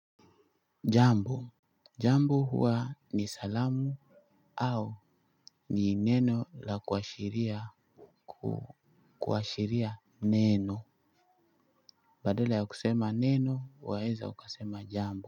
Jambo. Jambo huwa ni salamu au ni neno la kuashiria neno. Badala ya kusema neno, waweza ukasema jambo.